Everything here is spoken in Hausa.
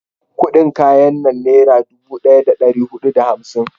kudin kayan nan nera dubu daya da dari hudu da hamsin